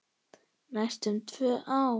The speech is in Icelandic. Næstum tvö ár!